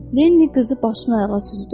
Lenni qızı başdan ayağa süzdü.